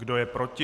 Kdo je proti?